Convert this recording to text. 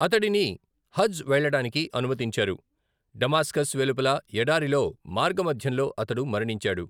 అతడిని హజ్ వెళ్ళడానికి అనుమతించారు, డమాస్కస్ వెలుపల ఎడారిలో మార్గమధ్యంలో అతడు మరణించాడు.